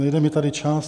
Nejde mi tady čas.